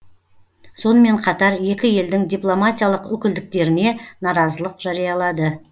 сонымен қатар екі елдің дипломатиялық өкілдіктеріне наразылық жариялады